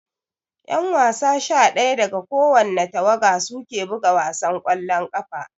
Ƴan wasa sha daya daga kowani tawaga suke buga wasan ƙwallon ƙafa